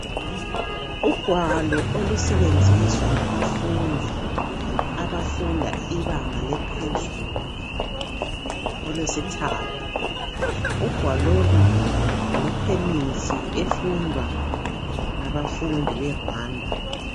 Ugwalo olusebenziswa ngabafundi abafunda ibanga eliphezulu olwesithathi. Ugwalo lolu ngolwekhemisi efundwa ngabafundi be"Rwanda".